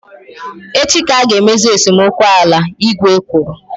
Echi ka a ga emezi esemokwu ala, igwe kwuru